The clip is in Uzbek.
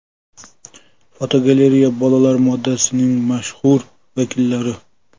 Fotogalereya: Bolalar modasining mashhur vakillari.